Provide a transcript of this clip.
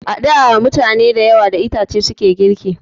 A da mutane da yawa da itace suke girki